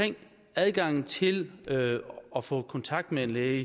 adgangen til at få kontakt med en læge